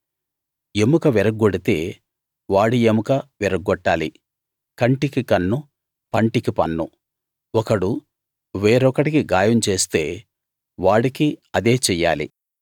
ఎముక విరగ్గొడితే వాడి ఎముక విరగ్గొట్టాలి కంటికి కన్ను పంటికి పన్ను ఒకడు వేరొకడికి గాయం చేస్తే వాడికి అదే చెయ్యాలి